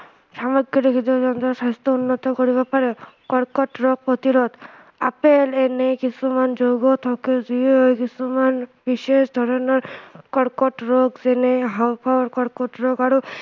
সমগ্ৰ জীৱজন্তুৰ স্ৱাস্থ্য় উন্নত কৰিব পাৰে কৰ্কট ৰোগ প্ৰতিৰোধ আপেল এনে কিছুমান ৰোগ থকা জীৱই কিছুমান বিশেষ ধৰণৰ কৰ্কট ৰোগ যেনে হাওঁফাওঁৰ কৰ্কট ৰোগ আৰু